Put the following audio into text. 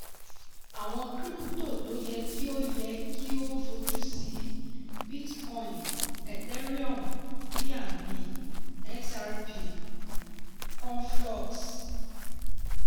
àwọn krípútò tó yẹ kí o yẹ kí o fojú sí: bitcoin ethereum bnb xrp conflux.